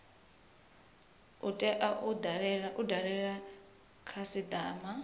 u tea u dalela khasitama